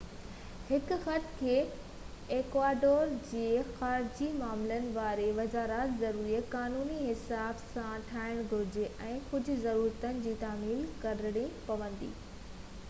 هن خط کي ايڪواڊور جي خارجي معاملن واري وزارت ذريعي قانوني حساب سان ٺاهڻ گهرجي ۽ ڪجهہ ضرورتن جي تعميل ڪرڻي پوندي